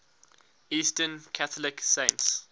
eastern catholic saints